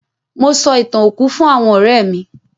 Mo sọ ì̀tàn òkú fún àwọn ọ̀rẹ́ mí.